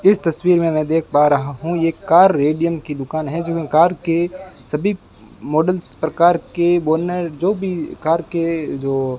इस तस्वीर में मैं देख पा रहा हूं ये कार रेडियम की दुकान है जहां कार के सभी मॉडल्स प्रकार के बोनर जो भी कार के जो --